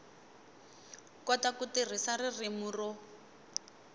kota ku tirhisa ririmi ro